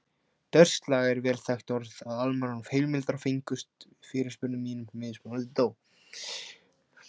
Dörslag er vel þekkt orð og allmargar heimildir fengust við fyrirspurnum mínum, mismunandi þó.